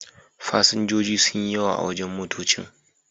Fasinjoji sun yi yawa a wurin motoccin.